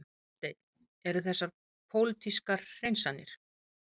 Hafsteinn: Eru þessar pólitískar hreinsanir?